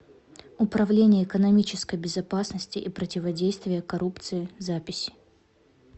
управление экономической безопасности и противодействия коррупции запись